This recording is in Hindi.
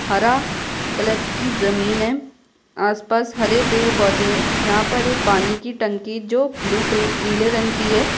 हरा कलर की जमीन है आसपास हरे पेड़-पौधे हैं यहाँ पर एक पानी की टंकी जो ब्लू कलर नीले रंग की है।